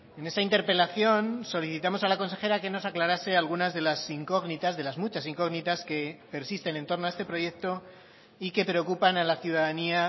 en esa interpelación solicitamos a la consejera que nos aclarase algunas de las incógnitas de las muchas incógnitas que persisten en torno a este proyecto y que preocupan a la ciudadanía